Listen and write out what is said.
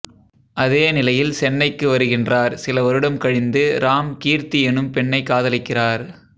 அதே நிலையில் சென்னைக்கு வருகின்றார் சில வருடம் கழிந்து ராம் கீர்த்தி எனும் பெண்ணை காதலிக்கிறார்